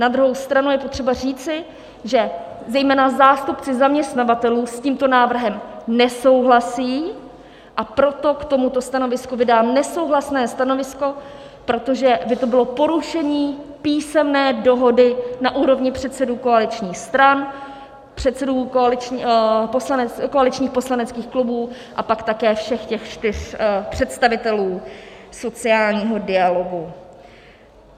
Na druhou stranu je potřeba říci, že zejména zástupci zaměstnavatelů s tímto návrhem nesouhlasí, a proto k tomuto stanovisku vydám nesouhlasné stanovisko, protože by to bylo porušení písemné dohody na úrovni předsedů koaličních stran, předsedů koaličních poslaneckých klubů a pak také všech těch čtyř představitelů sociálního dialogu.